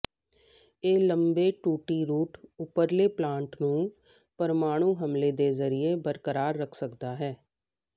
ਇਹ ਲੰਬੇ ਟੂਟੀ ਰੂਟ ਉਪਰਲੇ ਪਲਾਂਟ ਨੂੰ ਪਰਮਾਣੂ ਹਮਲੇ ਦੇ ਜ਼ਰੀਏ ਬਰਕਰਾਰ ਰੱਖ ਸਕਦਾ ਹੈ